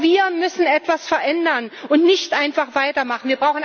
Auch wir müssen etwas verändern und dürfen nicht einfach weitermachen.